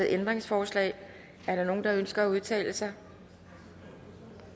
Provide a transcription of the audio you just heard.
ændringsforslag er der nogen der ønsker at udtale sig